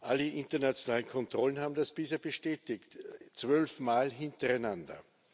Alle internationalen Kontrollen haben das bisher bestätigt zwölfmal hintereinander.